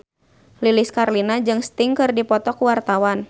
Lilis Karlina jeung Sting keur dipoto ku wartawan